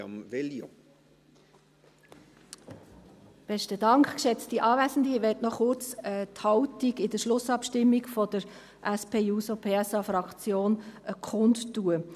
Ich möchte noch kurz die Haltung in der Schlussabstimmung der SP-JUSO-PSA-Fraktion kundtun.